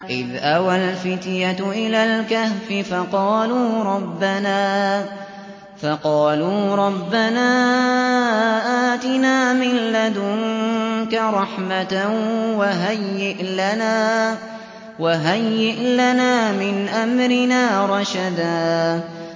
إِذْ أَوَى الْفِتْيَةُ إِلَى الْكَهْفِ فَقَالُوا رَبَّنَا آتِنَا مِن لَّدُنكَ رَحْمَةً وَهَيِّئْ لَنَا مِنْ أَمْرِنَا رَشَدًا